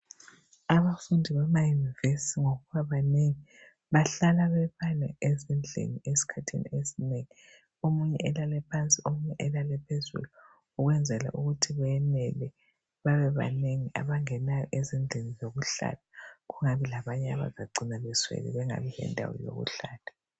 Abafundi bamayunivesi ngokuba banengi bahlala ezindlini ezigadeneyo ezinengi omunye elale phansi omunye elale phezulu Ukwenzela ukuthi benele babe banengi abangenayo ezindlini zokuhlala kungabi labanye abazacina beswele bengabi lendawo yokuhlala